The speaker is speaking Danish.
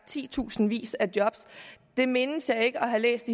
tusindvis af job mindes jeg ikke at have læst